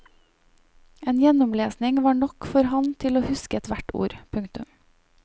En gjennomlesning var nok for han til å huske hvert ord. punktum